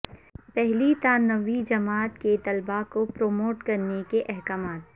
پہلی تا نویں جماعت کے طلبہ کو پروموٹ کرنے کے احکامات